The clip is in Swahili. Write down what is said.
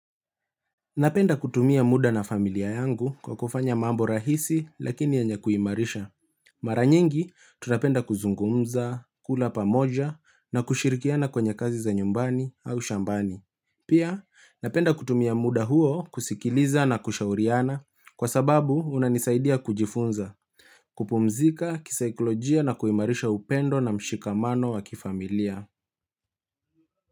Napenda kutumia muda na familia yangu kwa kufanya mambo rahisi lakini yenye kuimarisha. Maranyingi, tunapenda kuzungumza, kula pamoja na kushirikiana kwenye kazi za nyumbani au shambani. Pia, napenda kutumia muda huo kusikiliza na kushauriana kwa sababu unanisaidia kujifunza, kupumzika, kisikolojia na kuimarisha upendo na mshikamano wa kifamilia.